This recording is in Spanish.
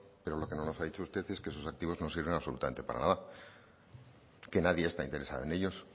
pero lo que no nos ha dicho usted es que esos activos no sirven absolutamente para nada que nadie está interesado en ellos